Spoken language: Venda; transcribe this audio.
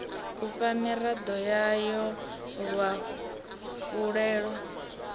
u fha miraḓo yayo luafhulelo